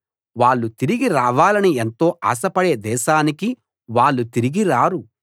వాళ్ళు తిరిగి రావాలని ఎంతో ఆశపడే దేశానికి వాళ్ళు తిరిగి రారు